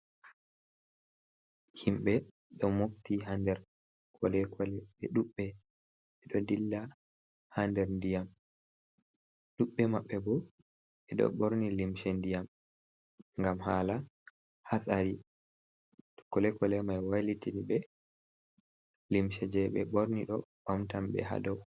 Himɓe do mofti ha nder kolekole be dubbe ɓe ɗo dilla ha nder ndiyam dubbe mabbe ɓo ɓe do borni limse ndiyam ngam hala hasari to kolekole mai wailitini be limse je be borni do bamtan be ha dow.